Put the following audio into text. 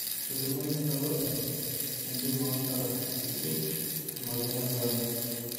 Etolimuo ninye olopeny entim oosara ishiwuo emoyian ekorona